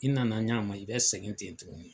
I nana ɲa ma , i bɛ segin ten tuguni.